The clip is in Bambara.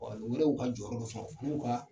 U yɛrɛw ka jɔyɔrɔ dɔ sɔrɔ a n'u ka